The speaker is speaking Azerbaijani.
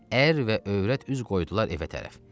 Ər və övrət üz qoydular evə tərəf.